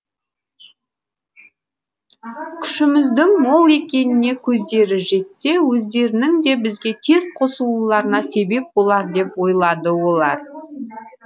күшіміздің мол екеніне көздері жетсе өздерінің де бізге тез қосылуларына себеп болар деп ойлады олар